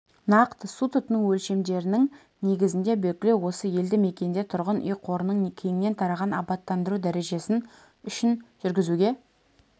нақты су тұтыну өлшемдерінің негізінде белгілеу осы елді мекенде тұрғын үй қорының кеңінен тараған абаттандыру дәрежесі үшін жүргізуге